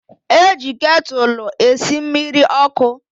E ji ketụlụ esi mmiri ọkụ.